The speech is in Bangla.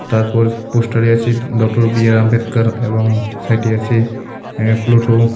তারপর পোস্টারে আছে ডঃ বি আর আম্বেদকর এবং সাইডে আছে আঃ প্লোটো.